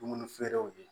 Dumuni feerew ye